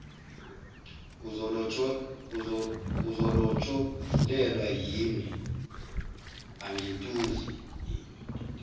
uzolotsholelwa yimi angintuli